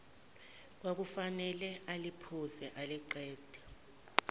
kwakufanele aliphuze aliqede